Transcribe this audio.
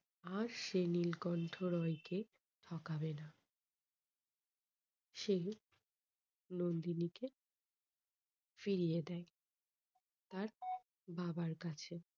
আর সে নীলকণ্ঠ রায় কে ঠকাবেনা। সে নন্দিনীকে ফিরিয়ে দেয় তার বাবার কাছে।